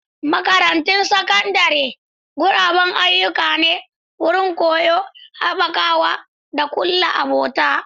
Makarantun Sakandare guraben ayyuka ne, wurin koyo, haɓakawa, da kulla abota.